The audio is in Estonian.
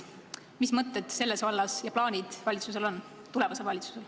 Mis mõtted ja plaanid tulevasel valitsusel on?